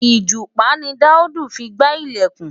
Ìgúnpá ni Daud fi gbá ilẹ̀kùn.